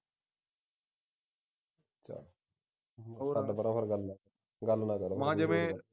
ਛੱਡ ਪਰਾ ਫਿਰ ਹੋਰ ਗੱਲ ਨੂੰ ਗੱਲ ਨਾ ਕਰ ਮੈਂ ਜਿਵੇਂ ਮੈਂ ਜਿਵੇਂ ਸੋਚਣਾ ਸੋਚੋ ਫਿਰ ਮੈਂ ਐ ਕਹਿ ਤਾ ਥੋਡੀ ਮਰਜੀ ਆ ਠੀਕ ਆ ਮੈਂ ਮੈਥੋਂ ਨੀ ਮੇਰੇ ਕੋਲ ਨਹੀਂ ਹੁੰਦਾ